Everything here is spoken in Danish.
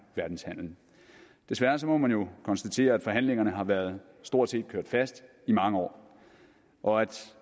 verdenshandelen desværre må man jo konstatere at forhandlingerne har været stort set kørt fast i mange år og at